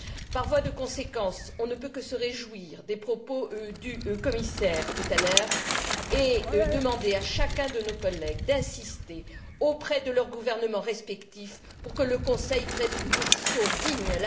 Par voie de conséquence, on ne peut que se réjouir des propos tenus par le commissaire tout à l'heure et demander à chacun de nos collègues d'insister auprès de son gouvernement respectif pour que le Conseil prenne une position digne.